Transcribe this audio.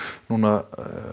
núna